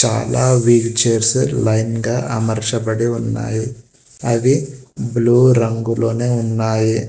చాలా wheelchairs line గా అమర్చబడి ఉన్నాయి అవి బ్లూ రంగులోనే ఉన్నాయి.